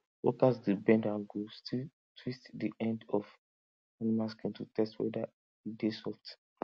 workers dey bend and go still twist di end of animal skin to test whether e dey soft